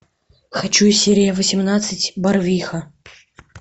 хочу серия восемнадцать барвиха